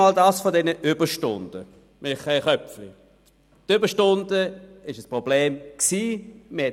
Als Erstes zu den Überstunden, Michael Köpfli: Die Überstunden waren ein Problem, mit Betonung auf «waren».